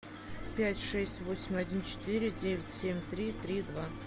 пять шесть восемь один четыре девять семь три три два